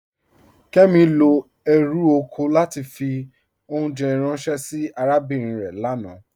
Kẹmi lọ èrú oko látì fì ọ̀unjẹ̀ ránsẹ̀ sí àràbínrin rẹ̀ lánà.